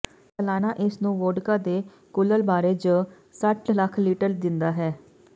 ਸਾਲਾਨਾ ਇਸ ਨੂੰ ਵੋਡਕਾ ਦੇ ਕੁਲ੍ਲ ਬਾਰੇ ਜ ਸੱਠ ਲੱਖ ਲੀਟਰ ਦਿੰਦਾ ਹੈ